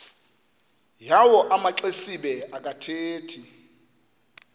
yawo amaxesibe akathethi